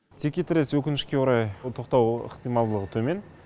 текетірес өкінішке қарай тоқтау ықтималдығы төмен